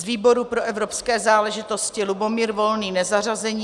Z výboru pro evropské záležitosti Lubomír Volný nezařazení.